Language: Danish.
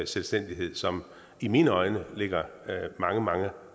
selvstændighed som i mine øjne ligger mange mange